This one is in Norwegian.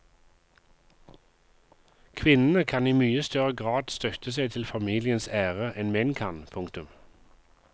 Kvinnene kan i mye større grad støtte seg til familiens ære enn menn kan. punktum